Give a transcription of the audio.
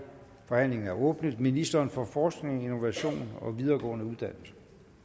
forhandlingen er åbnet ministeren for forskning innovation og videregående uddannelser